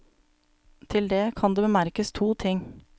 Til det kan det bemerkes to ting.